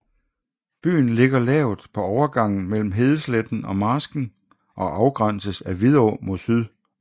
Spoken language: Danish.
Byen ligger lavt på overgangen mellem hedesletten og marsken og afgrænses af Vidå mod syd